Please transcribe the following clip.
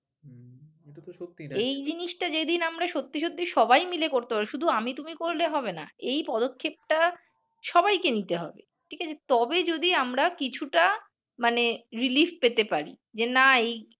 এই জিনিস টা যেদিন আমরা সত্যি সত্যি সবাই মিলে করতে পারব শুধু আমি তুমি করলে হবে না এই পদক্ষেপ টা সবাই কে নিতে হবে ঠিক আছে? তবেই যদি আমরা কিছু টা মানে relief পেতে পার যে না এই